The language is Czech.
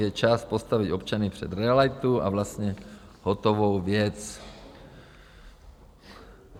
Je čas postavit občany před realitu a vlastně hotovou věc.